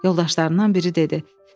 Yoldaşlarından biri dedi: